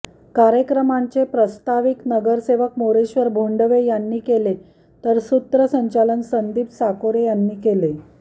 कार्यक्रमाचे प्रास्ताविक नगरसेवक मोरेश्वर भोंडवे यांनी केले तर सूत्रसंचालन संदीप साकोरे यांनी केले